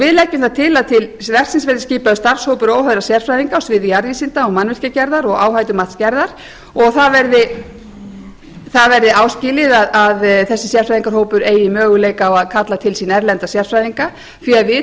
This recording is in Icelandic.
við leggjum það til að til verksins verði skipaður starfshópur óháðra sérfræðinga á sviði jarðvísinda og mannvirkjagerðar og áhættumatsgerðar og það verði áskilið að þessi sérfræðingahópur eigi möguleika á að kalla til sín erlenda sérfræðinga því við